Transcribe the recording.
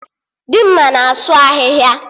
Dimma na-asụ ahịhịa